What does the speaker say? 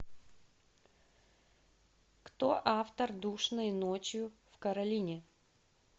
кто автор душной ночью в каролине